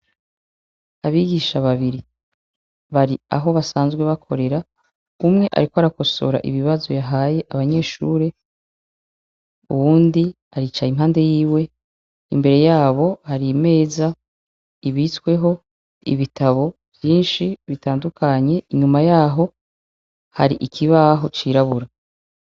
Abigisha babiri ,bari aho basanzwe bakorera , umwe ariko arakosora ibibazo yahaye abanyeshure , uwundi aricaye impande yiwe, imbere yabo har'imeza ibitsweho ibitabo vyinshi bitandukanye , inyuma yaho hari ikibaho cirabura.